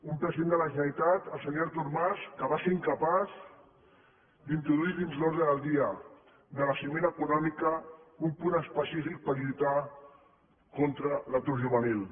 un president de la generalitat el senyor artur mas que va ser incapaç d’introduir dins l’ordre del dia de la cimera econòmica un punt específic per lluitar contra l’atur juvenil